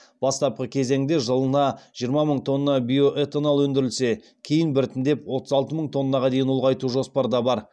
бастапқы кезеңде жылына жиырма мың тонна биоэтанол өндірілсе кейін біртіндеп отыз алты мың тоннаға дейін ұлғайту жоспарда бар